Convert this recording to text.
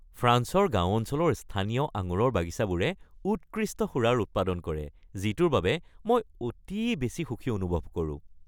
ফ্ৰান্সৰ গাঁও অঞ্চলৰ স্থানীয় আঙুৰৰ বাগিচাবোৰে উৎকৃষ্ট সুৰাৰ উৎপাদন কৰে যিটোৰ বাবে মই অতি বেছি সুখী অনুভৱ কৰোঁ।